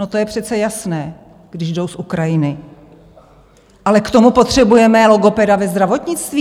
No to je přece jasné, když jdou z Ukrajiny, ale k tomu potřebujeme logopeda ve zdravotnictví?